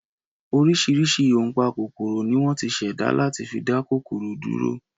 Oríṣiríṣi ọ̀npákòkòrò ni wọ́n ti ṣẹ̀dá láti fi dá kòkòrò dúró